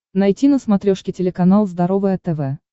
найти на смотрешке телеканал здоровое тв